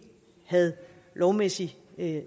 havde lovmæssig